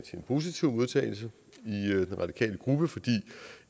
en positiv modtagelse i den radikale gruppe fordi